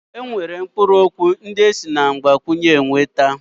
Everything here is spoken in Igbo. E nwere mkpụrụ okwu ndị esi na mgbakwunye nweta.